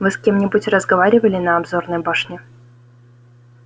вы с кем-нибудь разговаривали на обзорной башне